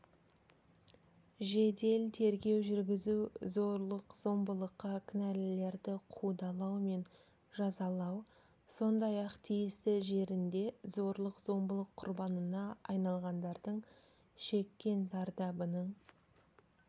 жедел тергеу жүргізу зорлық-зомбылыққа кінәлілерді қудалау мен жазалау сондай-ақ тиісті жерінде зорлық-зомбылық құрбанына айналғандардың шеккен зардабының